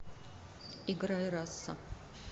играй раса